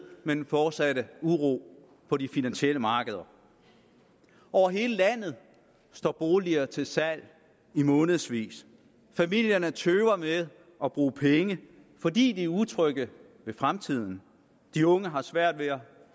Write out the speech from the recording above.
med den fortsatte uro på de finansielle markeder over hele landet står boliger til salg i månedsvis familierne tøver med at bruge penge fordi de er utrygge ved fremtiden de unge har svært ved at